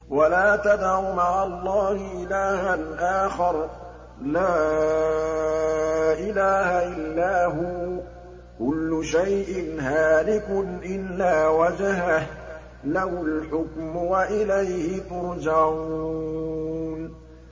وَلَا تَدْعُ مَعَ اللَّهِ إِلَٰهًا آخَرَ ۘ لَا إِلَٰهَ إِلَّا هُوَ ۚ كُلُّ شَيْءٍ هَالِكٌ إِلَّا وَجْهَهُ ۚ لَهُ الْحُكْمُ وَإِلَيْهِ تُرْجَعُونَ